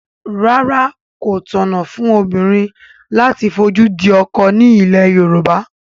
Rárá, kò tọ̀nà fún obìnrin láti fojú di ọkọ ní ilẹ̀ Yorùbá